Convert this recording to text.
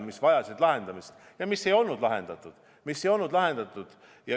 Need on vajanud lahendamist, aga neid pole lahendatud.